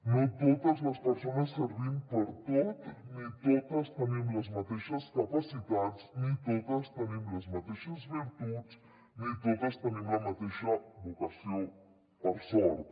no totes les persones servim per a tot ni totes tenim les mateixes capacitats ni totes tenim les mateixes virtuts ni totes tenim la mateixa vocació per sort